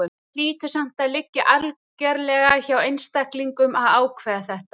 Þetta hlýtur samt að liggja algjörlega hjá einstaklingnum að ákveða þetta.